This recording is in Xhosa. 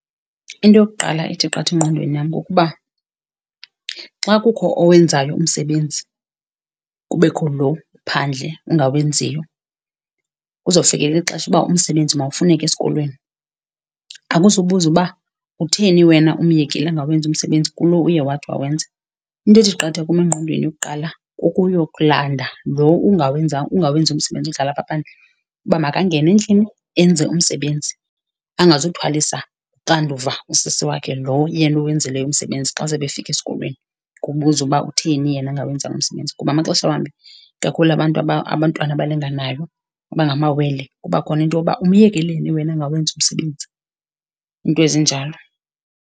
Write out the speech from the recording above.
Into yokuqala ethi qatha engqondweni yam kukuba xa kukho owenzayo umsebenzi kubekho lo uphandle ungawenziyo, kuzofikelela ixesha uba umsebenzi mawufuneke esikolweni akuzubuzwa uba utheni wena umyekile angawenzi umsebenzi kulo uye wathi wawenza. Into ethi qatha kum engqondweni kuqala kukuyokulanda lo ungawenziyo umsebenzi udlala apha phandle, uba makangene endlini enze umsebenzi angazuthwalisa uxanduva usisi wakhe lo yena uwenzileyo umsebenzi xa sebefika esikolweni, kubuzwa uba utheni yena engawenzanga umsebenzi. Kuba amaxesha wambi, kakhulu abantu abantwana abalinganayo, abangamawele kuba khona into yoba umyekeleni yena angawenzi umsebenzi, iinto ezinjalo.